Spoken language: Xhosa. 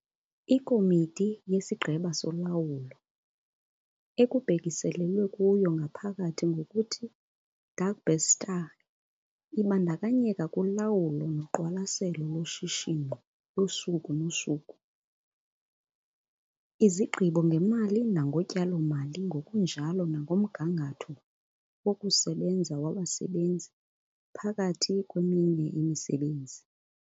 IKomiti yesiGqeba soLawulo, ekubhekiselelwa kuyo ngaphakathi ngokuthi 'Dagbestuur' ibandakanyeka kulawulo noqwalaselo loshishino losuku nosuku, izigqibo ngemali nangotyalo-mali ngokunjalo nangomgangatho wokusebenza wabasebenzi, phakathi kweminye imisebenzi.